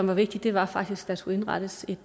var vigtigt var faktisk at der skulle indrettes et